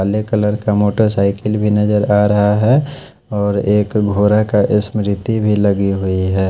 काले कलर का मोटरसाइकिल भी नजर आ रहा है और एक घोरा का स्मृति भी लगी हुई है।